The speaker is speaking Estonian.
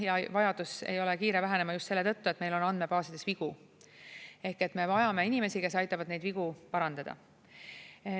Ja vajadus ei ole kiire vähenema just selle tõttu, et meil on andmebaasides vigu, ehk me vajame inimesi, kes aitavad neid vigu parandada.